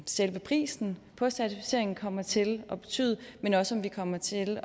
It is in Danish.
selve prisen på certificeringen kommer til at betyde men også om vi kommer til